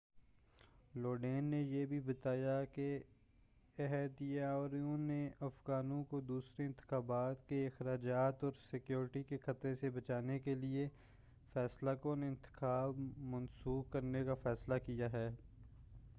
لوڈین نے یہ بھی بتایا کہ عہدیداروں نے افغانوں کو دوسرے انتخابات کے اخراجات اور سیکیورٹی کے خطرے سے بچانے کیلئے فیصلہ کُن انتخاب منسوخ کرنے کا فیصلہ کیا ہے